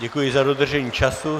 Děkuji za dodržení času.